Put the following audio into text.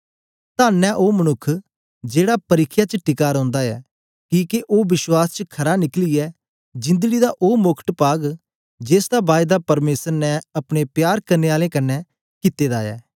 तन्न ऐ ओ मनुक्ख जेड़ा परिख्या च टिका रौंदा ऐ किके ओ विश्वास च खरा निकलियै जिंदड़ी दा ओ मोकट पाग जेसदा बायदा परमेसर ने अपने प्यार करने आलें कन्ने कित्ते दा ऐ